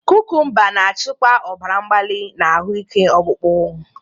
Kukumba na-achịkwa ọbara mgbali na ahụike ọkpụkpụ.